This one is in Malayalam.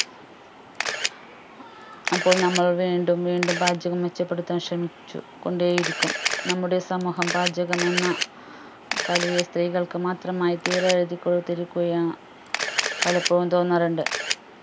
അപ്പോൾ നമ്മൾ വീണ്ടും വീണ്ടും പാചകം മെച്ചപ്പെടുത്താൻ ശ്രമിച്ചു കൊണ്ടേയിരിക്കും നമ്മുടെ സമൂഹം പാചകമെന്ന കലയെ സ്ത്രീകൾക്ക് മാത്രമായി തീറെഴുതി കൊടുത്തിരിക്കുകയാ പലപ്പോഴും തോന്നാറുണ്ട്